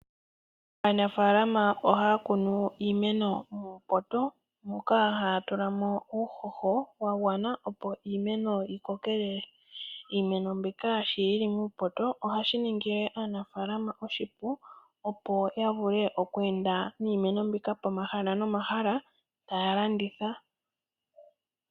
Aanafalama ohaya kunu iimeno muupoto, moka haya tula mo uuhoho wa gwana opo iimeno yikokelele. Iimeno mbika sho yili muupoto, ohashi ningile aanafalama oshi pu, opo ya vule oku ende niimeno mbika pomahala nomahala taya landitha.